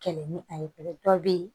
Kɛlɛ ni a ye pe dɔw bɛ ye